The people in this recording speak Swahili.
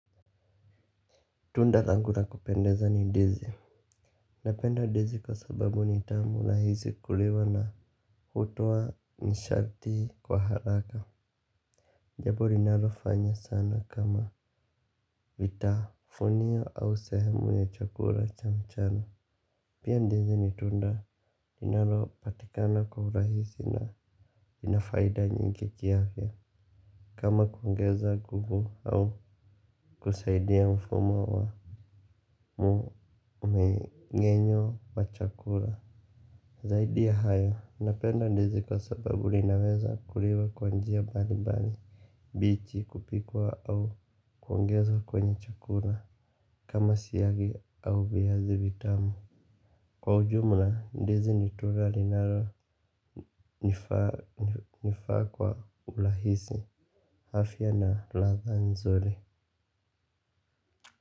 Tunda langu na kupendeza ni ndizi. Napenda ndizi kwa sababu ni tamu rahizi kuliwa na hutoa nishati kwa haraka. Jambo linalo fanya sana kama vitafunio au sehemu ya chakula cha mchana. Pia ndizi ni tunda linalo patikana kwa urahisi na inafaida nyingi kiafya. Kama kuongeza nguvu au kusaidia mfumo wa mumengenyo wa chakula zaidi ya hayo, napenda ndizi kwa sababu linaweza kuliwa kwanjia bali bali bichi kupikwa au kuongezwa kwenye chakula kama siyagi au viazi vitamu kwa ujumla, ndizi nitura linaro nifaa kwa urahisi afya na latha nzuri.